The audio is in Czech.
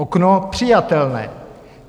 Okno přijatelné.